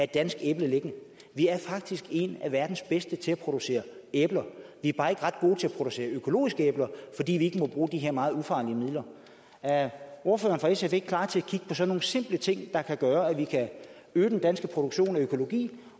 dansk æble liggende vi er faktisk en af verdens bedste til at producere æbler vi er bare ikke ret gode til at producere økologiske æbler fordi vi ikke må bruge de her meget ufarlige midler er ordføreren fra sf ikke klar til at kigge på sådan nogle simple ting der kan gøre at vi kan øge den danske produktion af økologi